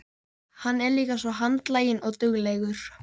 Hann er líka svo handlaginn og duglegur.